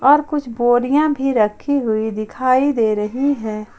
और कुछ बोरियां भी रखी हुई दिखाई दे रही है।